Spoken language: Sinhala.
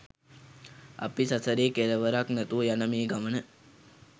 අපි සසරේ කෙළවරක් නැතුව යන මේ ගමන